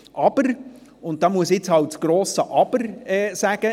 Hier muss ich ein grosses Aber anbringen: